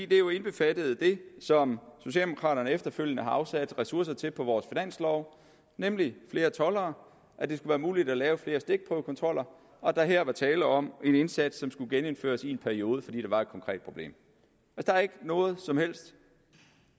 det er jo indbefattet af det som socialdemokraterne efterfølgende har afsat ressourcer til på vores finanslov nemlig flere toldere at det være muligt at lave flere stikprøvekontroller og at der her var tale om en indsats som skulle genindføres i en periode fordi der var et konkret problem der er ikke noget som helst